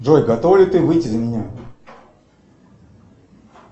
джой готова ли ты выйти за меня